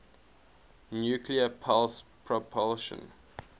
nuclear pulse propulsion